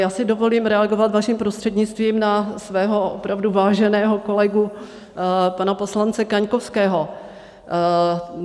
Já si dovolím reagovat, vaším prostřednictvím, na svého opravdu váženého kolegu, pana poslance Kaňkovského.